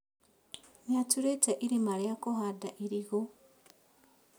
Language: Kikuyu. Nĩatũrĩte irima rĩa kũhanda irigũ